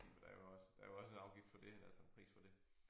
Men der er jo også der er jo også en afgift for det altså en pris for det